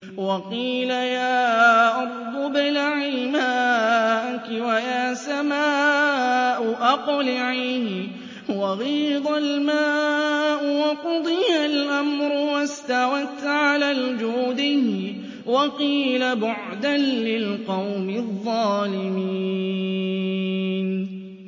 وَقِيلَ يَا أَرْضُ ابْلَعِي مَاءَكِ وَيَا سَمَاءُ أَقْلِعِي وَغِيضَ الْمَاءُ وَقُضِيَ الْأَمْرُ وَاسْتَوَتْ عَلَى الْجُودِيِّ ۖ وَقِيلَ بُعْدًا لِّلْقَوْمِ الظَّالِمِينَ